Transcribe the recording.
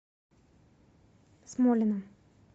смолина